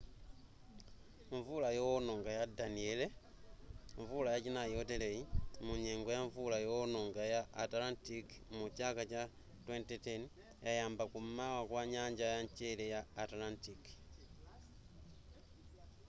mvula yoononga ya danielle mvula yachinai yoteleyi munyengo ya mvula yoononga ya atlantic mu chaka cha 2010 yayamba kum'mawa kwa nyanja ya mchere ya atlantic